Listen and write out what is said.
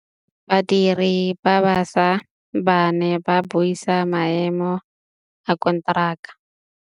Badiri ba baša ba ne ba buisa maêmô a konteraka.